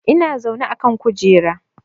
Ina zaune a kan kujera